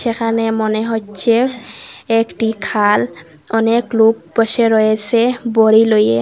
এখানে মনে হচ্ছে একটি খাল অনেক লোক বসে রয়েসে বড়ি লইয়ে।